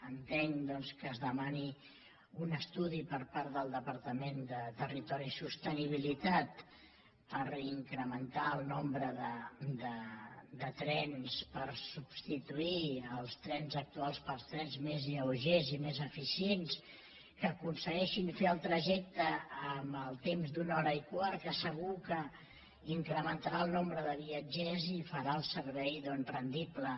entenc que es demani un estudi per part del departament de territori i sostenibilitat per incrementar el nombre de trens per substituir els trens actuals per trens més lleugers i més eficients que aconsegueixin fer el trajecte amb el temps d’una hora i quart que segur que incrementarà el nombre de viatgers i farà el servei doncs rendible